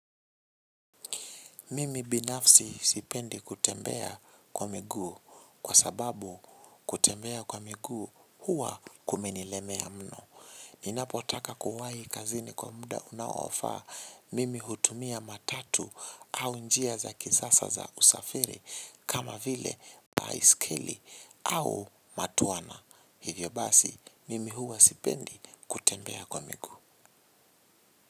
Mimi binafsi sipendi kutembea kwa miguu kwa sababu kutembea kwa miguu huwa kumenilemea mno. Ni napotaka kuwahi kazini kwa mda unaofaa mimi hutumia matatu au njia za kisasa za kusafiri kama vile baisikeli au matwana hivyo basi mimi huwa sipendi kutembea kwa miguu.